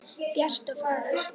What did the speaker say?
Bjart og fagurt.